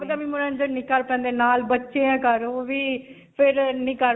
ਆਪਦੇ ਵੀ ਬੱਚੇ ਘਰ ਓਹ ਵੀ, ਫਿਰ ਨਹੀਂ ਕਰ.